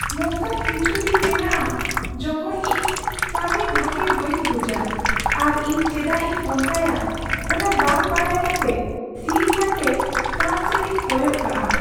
ᱱᱚᱝᱠᱟᱱ ᱠᱤᱪᱷᱩ ᱫᱤᱱ ᱢᱮᱱᱟᱜᱼᱟ ᱡᱚᱠᱷᱚᱱ ᱤᱧ ᱠᱟᱹᱢᱤ ᱵᱷᱟᱹᱜᱮ ᱵᱟᱹᱧ ᱵᱩᱡᱟ ᱟᱨ ᱤᱧ ᱪᱮᱫᱟᱜ ᱤᱧ ᱚᱱᱠᱟᱭᱟ ᱚᱱᱟ ᱵᱟᱝ ᱵᱟᱰᱟᱭ ᱠᱟᱛᱮ ᱛᱷᱤᱨ ᱠᱟᱛᱮ ᱠᱟᱸᱛ ᱥᱮᱫ ᱤᱧ ᱠᱚᱭᱚᱜ ᱠᱟᱜᱼᱟ ᱾